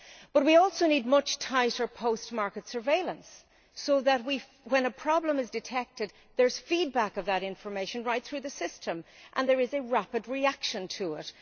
But we also need much tighter post market surveillance, so that when a problem is detected there is feedback of that information right through the system and there is a rapid reaction to it.